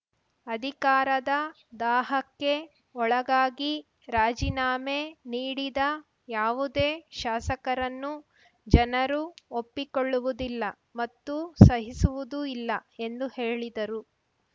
ಅಧಿಕಾರದ ದಾಹಕ್ಕೆ ಒಳಗಾಗಿ ರಾಜೀನಾಮೆ ನೀಡಿದ ಯಾವುದೇ ಶಾಸಕರನ್ನು ಜನರು ಒಪ್ಪಿಕೊಳ್ಳುವುದಿಲ್ಲ ಮತ್ತು ಸಹಿಸುವುದೂ ಇಲ್ಲ ಎಂದು ಹೇಳಿದರು